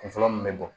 Kun fɔlɔ mun bɛ bɔ